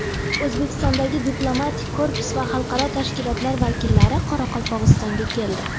O‘zbekistondagi diplomatik korpus va xalqaro tashkilotlar vakillari Qoraqalpog‘istonga keldi.